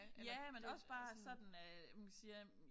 Ja men også bare sådan øh nu kan siger øh